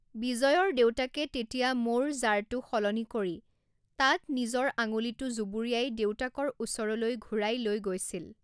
বিজয়ৰ দেউতাকে তেতিয়া মৌৰ জাৰটো সলনি কৰি তাত নিজৰ আঙুলিটো জুবুৰিয়াই দেউতাকৰ ওচৰলৈ ঘূৰাই লৈ গৈছিল।